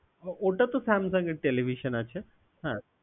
ওটা তো Samsung এর television আছে হ্যাঁ